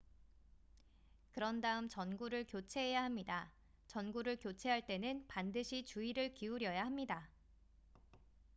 그런 다음 전구를 교체해야 합니다 전구를 교체할 때는 반드시 주의를 기울여야 합니다